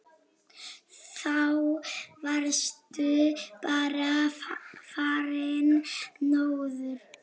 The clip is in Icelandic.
Þá varstu bara farinn norður.